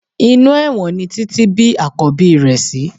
Inú ẹ̀wọ̀n ni Títí bí Àkọ́bí rẹ̀ sí